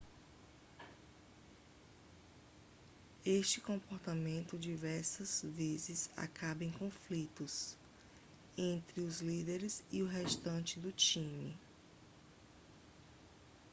este comportamento diversas vezes acaba em conflitos entre os líderes e o restante do time